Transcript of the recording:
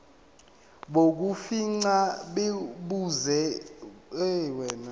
bokufingqa busezingeni elihle